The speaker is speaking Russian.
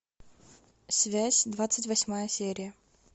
связь двадцать восьмая серия